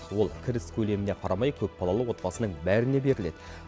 ол кіріс көлеміне қарамай көпбалалы отбасының бәріне беріледі